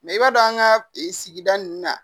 i b'a dɔn an ka sigida nun na